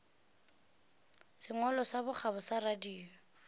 sengwalo sa bokgabo sa radio